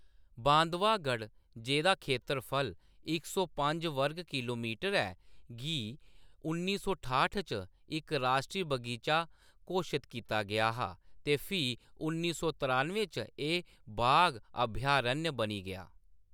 बांधावगढ़, जेह्‌दा खेतरफल इक सौ पंज वर्ग किल्लोमीटर ऐ, गी उन्नी सौ ठानुएं च इक राश्ट्री बगीचा घोशत कीता गेआ हा ते फ्ही उन्नी सौ त्रानुएं च एह्‌‌ बाघ अभयारण्य बनी गेआ।